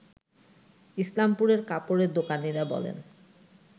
ইসলামপুরের কাপড়ের দোকানিরা বলেন